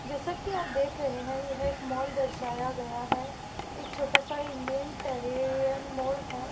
जैसा कि आप देख रहे है यह एक मॉल दर्शाया गया है एक छोटा सा इंडियन टेरियन माल है।